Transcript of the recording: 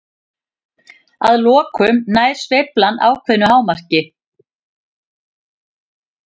Að lokum nær sveiflan ákveðnu hámarki.